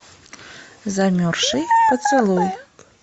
замерзший поцелуй